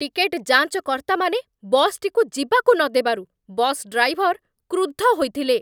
Ticket ଯାଞ୍ଚକର୍ତ୍ତାମାନେ ବସ୍‌ଟିକୁ ଯିବାକୁ ନଦେବାରୁ ବସ୍ ଡ୍ରାଇଭର୍ କ୍ରୁଦ୍ଧ ହୋଇଥିଲେ।